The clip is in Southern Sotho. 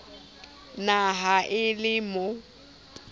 na ha e le mo